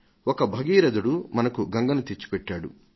ఒక భగీరథుడు మనకు గంగను తెచ్చిపెట్టాడు